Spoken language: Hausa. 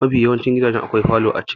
Mafi yawancin gidaje akwai falo a ciki.